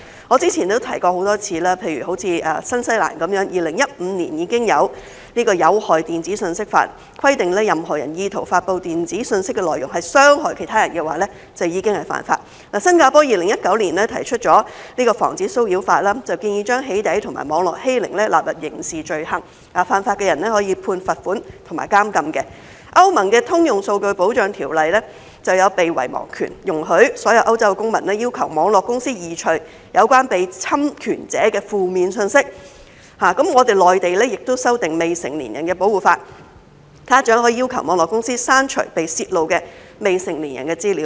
我之前曾多次提出，新西蘭在2015年已經有《有害電子信息法》，規定若任何人意圖發布電子信息的內容是傷害其他人，便已屬犯法；新加坡在2019年提出《防止騷擾法》，建議把"起底"和網絡欺凌納入刑事罪行，犯法的人可被判罰款和監禁；歐盟的《通用數據保障條例》就有"被遺忘權"，容許所有歐洲公民要求網絡公司移除有關被侵權者的負面信息；內地亦修訂未成年人保護法，家長可要求網絡公司刪除被泄露的未成年人的資料。